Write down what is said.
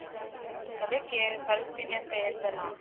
ಹ್ಮ್, ಅದ್ದಕ್ಕೆ ಕೆ~ ಕಳಿಸ್ತಿನಿ ಅಂತಾ ಹೇಳಿದ್ಯಲ್ಲ.